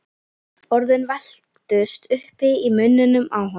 Orðin velktust uppi í munninum á honum.